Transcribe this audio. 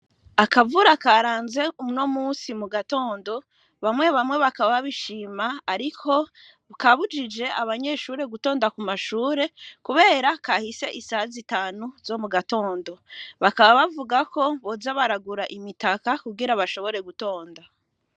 Akavura karanze umno musi mu gatondo bamwe bamwe bakaba bishima, ariko bukabujije abanyeshure gutonda ku mashure, kubera kahise isa zitanu zo mu gatondo bakaba bavuga ko bozabaragura imitaka kugera bashobore gutonda.